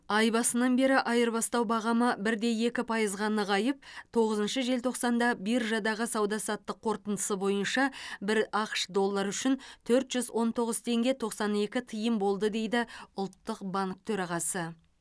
ай басынан бері айырбастау бағамы бір де екі пайызға нығайып тоғызыншы желтоқсанда биржадағы сауда саттық қорытындысы бойынша бір ақш доллары үшін төрт жүз он тоғыз теңге тоқсан екі тиын болды дейді ұлттық банк төрағасы